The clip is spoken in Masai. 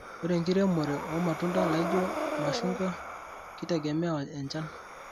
Ore enkiremore omatunda laijo mashungua keitegemea enchan.